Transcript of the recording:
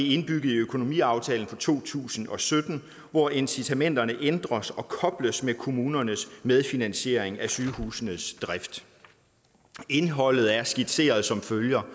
indbygget i økonomiaftalen for to tusind og sytten hvor incitamenterne ændres og kobles med kommunernes medfinansiering af sygehusenes drift indholdet er skitseret som følger